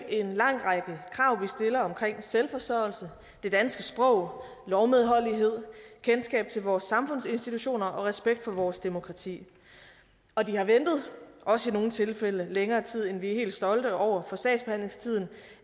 en lang række krav vi stiller om selvforsørgelse det danske sprog lovmedholdelighed kendskab til vores samfundsinstitutioner og respekt for vores demokrati og de har ventet også i nogle tilfælde længere tid end vi er helt stolte over for sagsbehandlingstiden